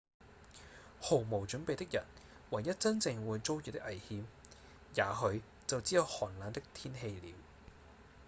毫無準備的人唯一真正會遭遇的危險也許就只有寒冷的天氣了